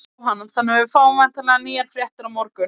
Jóhann: Þannig að við fáum væntanlega nýjar fréttir á morgun?